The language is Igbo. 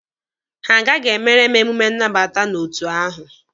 Ha agaghị emere m emume nnabata n'otu ahụ.